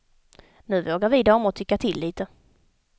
Nu vågar vi damer tycka till lite.